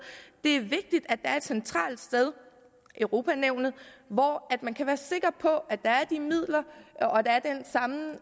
det er vigtigt at der er et centralt sted europa nævnet hvor man kan være sikker på at der er midler